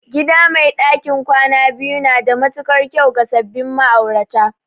Gida mai ɗakin kwana biyu na da matuƙar kyau ga sabbin ma'aurata